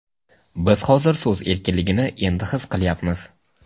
Biz hozir so‘z erkinligini endi his qilyapmiz.